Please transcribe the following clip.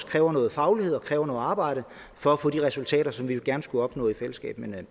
kræver noget faglighed og kræver noget arbejde for at få de resultater som vi jo gerne skulle opnå i fællesskab men